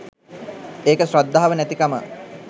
ඒක ශ්‍රද්ධාව නැතිකම